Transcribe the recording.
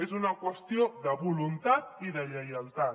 és una qüestió de voluntat i de lleialtat